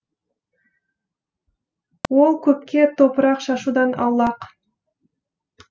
ол көпке топырақ шашудан аулақ